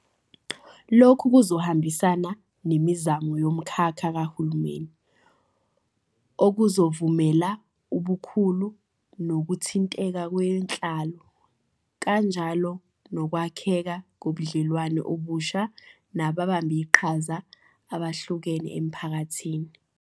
Lokhu kuzohambisana nemizamo yomkhakha kahulumeni, okuzovumela ubukhulu nokuthinteka kwenhlalo kanjalo nokwakheka kobudlelwano obusha nababambiqhaza abehlukene emphakathini.